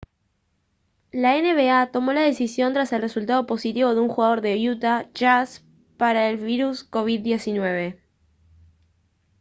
la nba tomó la decisión tras el resultado positivo de un jugador de utah jazz para el virus covid-19